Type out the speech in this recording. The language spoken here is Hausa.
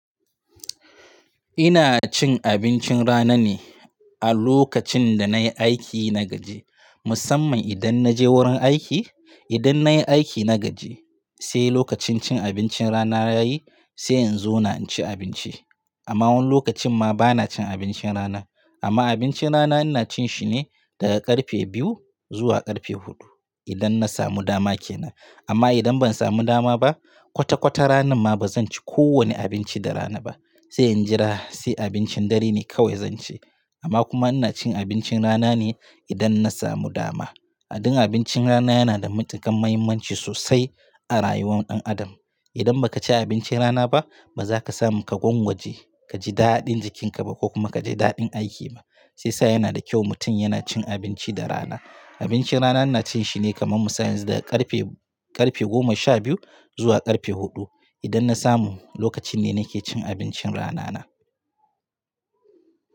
Ina cin abincin rana ne a lokacin da nayi aiki na gaji. Musamman idan naje wurin aiki, idan nayi aiki na gaji sai lokacin cin abincin rana yayi sai in zona ci abinci. Amma wani lokacin ma bana cin abincin rana. Amma abincin rana ina cin shi ne daga ƙarfe biyu zuwa ƙarfe huɗu idan na samu dama ke nan. Amma idan ban samu dama ba, kwata-kwata ranan ma bazan ci kowanne abinci da rana ba. Sai in jira sai abincin dare ne kawai zan ci. Amma kuma ina cin abincin rana ne idan na samu dama. A din abincin rana yana da matuƙar muhimmanci sosai a rayuwar ɗan adam. Idan baka ci abincin rana ba ba zaka samu ka gwangwaje kaji daɗin jikinka ba ko kuma kaji daɗin aiki ba. Sai sa yana da kyau mutum yana cin abinci da rana. Abincin rana ina cin shi ne kaman musa yanzu daga ƙarfe, ƙarfe goma sha biyu zuwa ƙarfe huɗu. Idan na samu lokacin ne nake cin abincin rana na.